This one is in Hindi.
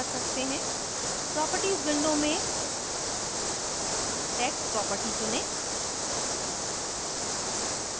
properties window में text properties चुनें